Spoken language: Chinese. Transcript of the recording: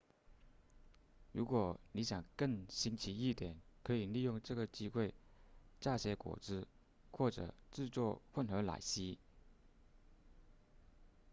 如果你想更新奇一点可以利用这个机会榨些果汁或制作混合奶昔